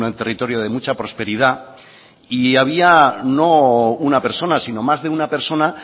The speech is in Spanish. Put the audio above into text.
territorio de mucha prosperidad y había no una persona sino más de una persona